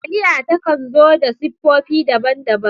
Taliya ta kan zo da siffofi daban-daban.